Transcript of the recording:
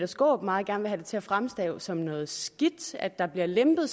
skaarup meget gerne vil til at fremstå som noget skidt at der bliver lempet